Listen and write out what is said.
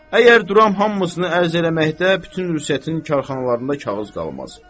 Əgər duram hamısını ərz eləməkdə bütün rüsətli karxanalarında kağız qalmaz.